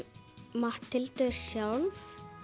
Matthildur sjálf